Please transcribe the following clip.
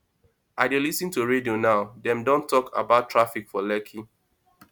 i dey lis ten to radio now dem don talk about traffic for lekki